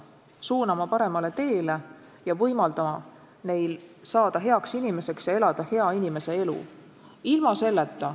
Me peame neid suunama paremale teele ja võimaldama neil saada heaks inimeseks ja elada hea inimese elu.